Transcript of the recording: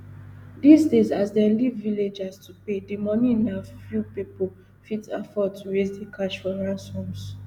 dis days as dem leave villagers to pay di moni na few pipo fit afford to raise di cash for ransoms